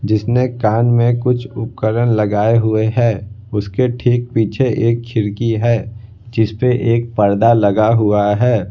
जिसने कान में कुछ उपकरण लगाए हुए हैं उसके ठीक पीछे एक खिड़की है जिस पे एक पर्दा लगा हुआ है।